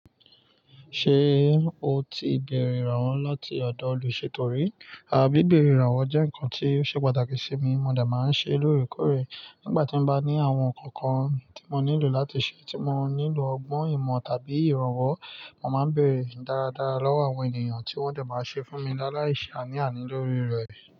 Ṣé o ti bèrè ìrànwọ́ láti ọ̀dọ̀ olùṣètò rí? Àbí ìbèrè ìrànwọ́ jẹ́ nǹkan tí ó ṣe pàtàkì sí mi, mo dà máa ń ṣe lóòrèkóòrè nígbà tí mo bá ní àwọn nǹkan kan tí mo nílò láti ṣe tí mo nílò ọgbọ́n ìmọ̀ tàbí ìrànwọ́, mo máa ń bèrè dáradára lọ́wọ́ àwọn ènìyàn tí wọ́n dẹ̀ máa ń ṣe fún mi dá láìṣà ní àní lórí rẹ̀